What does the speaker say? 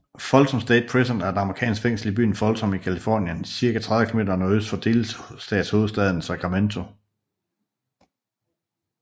Folsom State Prison er et amerikansk fængsel i byen Folsom i Californien cirka 30 km nordøst for delstatshovedstaden Sacramento